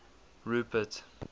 rupert